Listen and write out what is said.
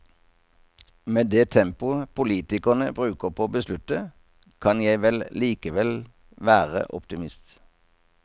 Med det tempoet politikerne bruker på å beslutte, kan jeg vel likevel være optimist.